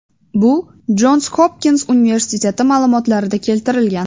Bu Jons Hopkins universiteti ma’lumotlarida keltirilgan .